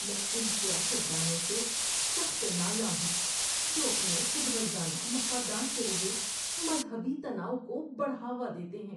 میں ان سیاست دانوں سے سخت نالاں ہوں جو اپنے خود غرضانہ مفادات کے لیے مذہبی تناؤ کو بڑھاوا دیتے ہیں۔